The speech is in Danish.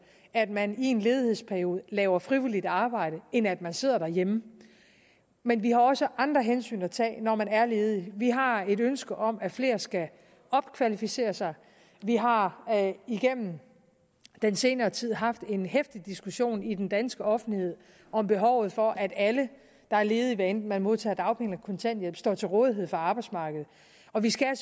at man i en ledighedsperiode laver frivilligt arbejde end at man sidder derhjemme men vi har også andre hensyn at tage når man er ledig vi har et ønske om at flere skal opkvalificere sig vi har igennem den senere tid haft en heftig diskussion i den danske offentlighed om behovet for at alle der er ledige hvad enten man modtager dagpenge eller kontanthjælp står til rådighed for arbejdsmarkedet og vi skal